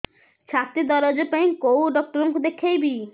ଛାତି ଦରଜ ପାଇଁ କୋଉ ଡକ୍ଟର କୁ ଦେଖେଇବି